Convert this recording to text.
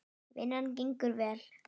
Vinnan gengur vel.